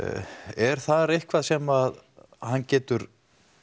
er þar eitthvað sem hann getur